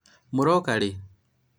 mũroka rĩ?